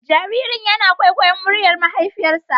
Jaririn yana kwaikwayon muryar mahaifiyarsa.